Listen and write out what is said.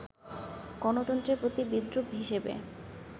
গণতন্ত্রের প্রতি বিদ্রূপ হিসেবে